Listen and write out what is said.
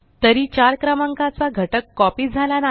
तरी 4 क्रमांकाचा घटक कॉपी झाला नाही